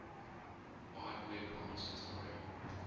wide web consortium